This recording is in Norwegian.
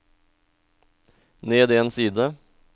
ned en side